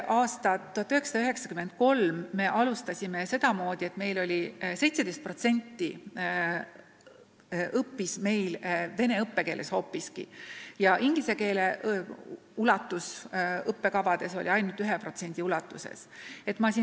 Aastat 1993 me alustasime sedamoodi, et 17% õppis meil vene keeles ja inglise keele osakaal õppekavades oli ainult 1%.